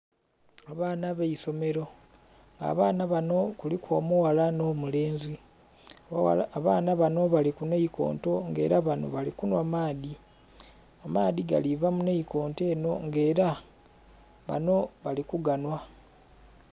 Abaana b'eisomero. Abaana bano kuliku omughala nh'omulenzi. Abaana bano bali ku naikonto nga ela bano bali kunhwa maadhi. Amaadhi gali kuva mu naikonto enho nga ela bano bali ku ganhwa.